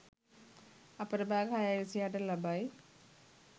අපර භාග 6.26 ට ලබයි.